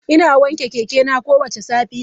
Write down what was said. Ina wanke keke na kowace safiya.